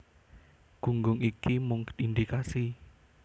Gunggung iki mung indikasi